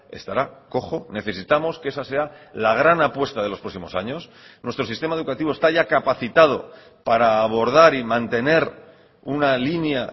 estará cojo necesitamos que esa sea la gran apuesta de los próximos años nuestro sistema educativo está ya capacitado para abordar y mantener una línea